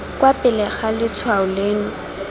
kwa pele ga letshwao leno